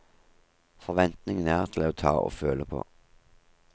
Forventningene er til å ta og føle på.